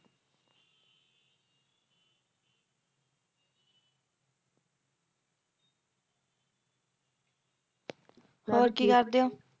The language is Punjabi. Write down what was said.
ਹੋਰ ਕੀ ਕਰਦੇ ਹੋ